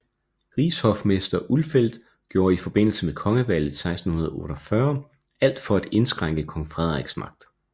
Rigshofmester Ulfeldt gjorde i forbindelse med kongevalget 1648 alt for at indskrænke kong Frederiks magt